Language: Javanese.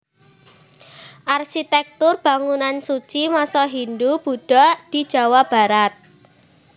Arsitektur Bangunan Suci Masa Hindu Budha di Jawa Barat